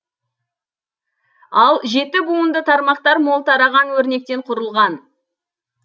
ал жеті буынды тармақтар мол тараған өрнектен құрылған